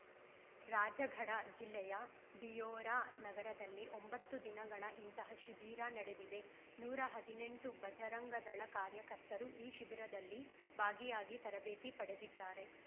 ರಾಜಗಢ ಜಿಲ್ಲೆಯ ಬಿಯೊರಾ ನಗರದಲ್ಲಿ ಒಂಬತ್ತು ದಿನಗಳ ಇಂತಹ ಶಿಬಿರ ನಡೆದಿದೆ ನೂರ ಹದಿನೆಂಟು ಬಜರಂಗ ದಳ ಕಾರ್ಯಕರ್ತರು ಈ ಶಿಬಿರದಲ್ಲಿ ಭಾಗಿಯಾಗಿ ತರಬೇತಿ ಪಡೆದಿದ್ದಾರೆ